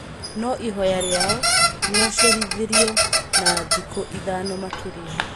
No ihoya rĩao nĩrĩacerithĩirio na thikũ ithano makĩria.